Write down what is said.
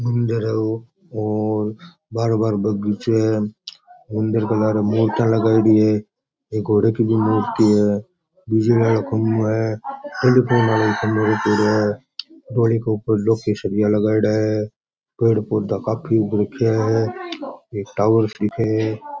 मंदिर है ओ और बारे बारे बगीचों है मंदिर का बारे मूर्तियां लगयोड़ी है एक घोड़े की भी मूर्ति है बिजली आलो खम्भों है रखयोड़ो है घोड़ी के ऊपर लोह का सीरिया लगायोडा है पेड़ पौधा काफी उग रख्या है एक टावर दिखे है।